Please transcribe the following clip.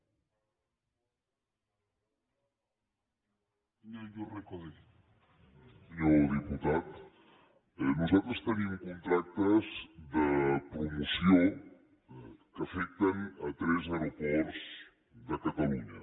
senyor diputat nosaltres tenim contractes de promoció que afecten tres aeroports de catalunya